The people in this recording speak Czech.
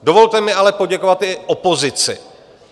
Dovolte mi ale poděkovat i opozici.